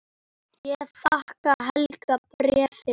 Ég þakka Helga bréfið.